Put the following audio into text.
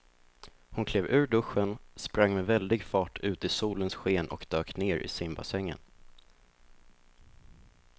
Hon klev ur duschen, sprang med väldig fart ut i solens sken och dök ner i simbassängen.